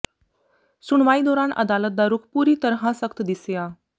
ਸੁਣਵਾਈ ਦੌਰਾਨ ਅਦਾਲਤ ਦਾ ਰੁਖ਼ ਪੂਰੀ ਤਰ੍ਹਾਂ ਸਖ਼ਤ ਦਿਸਿਆ